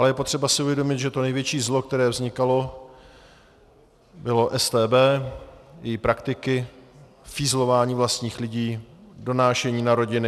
Ale je potřeba si uvědomit, že to největší zlo, které vznikalo, byla StB, její praktiky, fízlování vlastních lidí, donášení na rodiny.